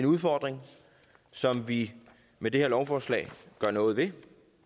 udfordring som vi med det her lovforslag gør noget ved